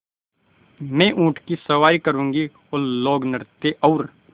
मैं ऊँट की सवारी करूँगी लोकनृत्य और